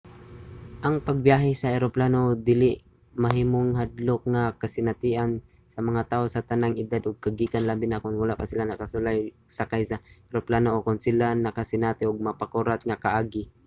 ang pagbiyahe sa eroplano mahimong hadlok nga kasinatian sa mga tawo sa tanang edad ug kagikan labi na kon wala pa sila nakasulay og sakay sa eroplano o kon sila nakasinati og makapakurat nga kaagi